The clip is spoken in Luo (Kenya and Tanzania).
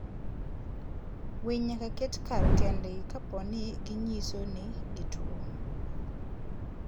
Winy nyaka ket kar kendgi kapo ni ginyiso ni gituwo.